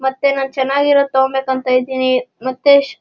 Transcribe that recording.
ಮತ್ತೆ ನ ಚೆನ್ನಗಿರೋದು ತಗೋಬೇಕು ಅಂತ ಇದ್ದೀನಿ ಮತ್ತೆ --